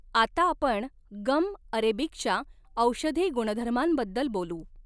आता आपण गम अरेबिकच्या औषधी गुणधर्मांबद्दल बोलू.